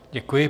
Děkuji.